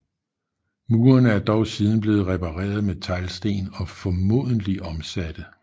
Murene er dog siden blevet repareret med teglsten og formodentlig omsatte